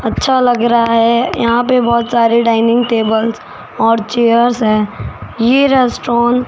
अच्छा लग रा है यहां पे बहोत सारे डाइनिंग टेबल और चेयर्स है ये रेस्टोरेंट --